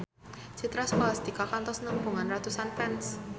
Citra Scholastika kantos nepungan ratusan fans